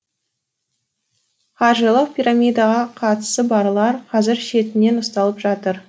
қаржылық пирамидаға қатысы барлар қазір шетінен ұсталып жатыр